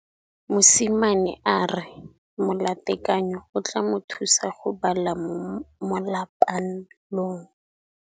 Mosimane a re molatekanyô o tla mo thusa go bala mo molapalong.